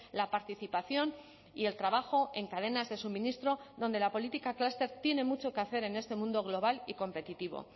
la participación y el trabajo en cadenas de suministro donde la política clúster tiene mucho que hacer en este mundo global y competitivo